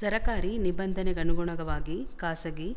ಸರಕಾರಿ ನಿಬಂಧನೆಗನುಗುಣವಾಗಿ ಖಾಸಗಿ